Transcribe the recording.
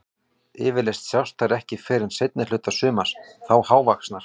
Yfirleitt sjást þær ekki fyrr en seinni hluta sumars, þá hálfvaxnar.